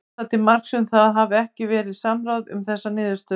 Er það til marks um að það hafi ekki verið samráð um þessa niðurstöðum?